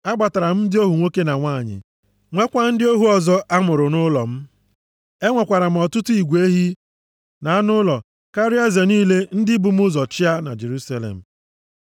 Agbatara m ndị ohu nwoke na nwanyị, nweekwa ndị ohu ọzọ a mụrụ nʼụlọ m. Enwekwara m ọtụtụ igwe ehi na anụ ụlọ karịa eze niile ndị bu m ụzọ chịa na Jerusalem.